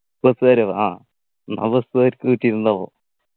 bus കാരോ ആ എന്നാ bus കാർക്ക് കിട്ടീട്ടുണ്ടാകും